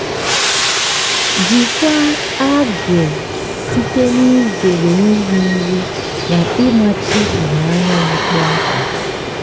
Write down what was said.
jikwaa algae site n'izere iri nri na ịmachi ìhè anyanwụ kpọmkwem.